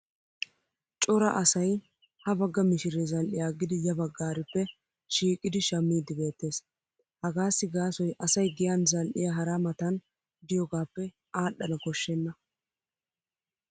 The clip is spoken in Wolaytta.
Cora asay ha bagga mishiree zal'iya aggidi ya baggarippe shiiqidi shammiidi beettees. Hagaasi gaasoy asay giyan zal'iya hara Matan diyogaappe adhdhana koshshenna.